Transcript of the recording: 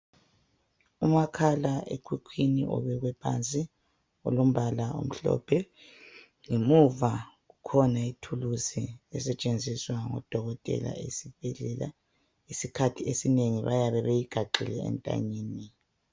Umakhala ekhukhwini obekwephansi olombala omhlophe ,ngemuva kukhona ithuluzi esetshenziswa ngodokothela esibhedlela. isikhathi esinengi bayabe beyigaxile entanyeni.